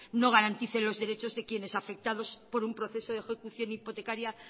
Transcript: no garantice los derechos de quienes afectados por un proceso de ejecución hipotecaria